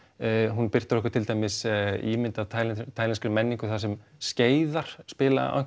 hún birtir okkur til dæmis ímynd af menningu þar sem skeiðar spila